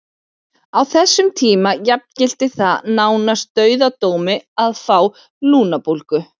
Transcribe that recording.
Á þessum tíma jafngilti það nánast dauðadómi að fá lungnabólgu.